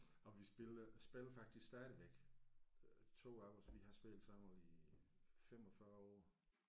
Og vi spiller spiller faktisk stadigvæk øh 2 af os vi har spillet sammen i 45 år